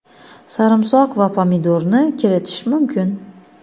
sarimsoq va pomidorni kiritish mumkin.